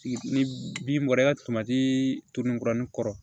Ni bin bɔra i ka kɔrɔ